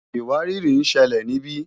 ìwárìrì ń ṣẹlẹ̀ níbí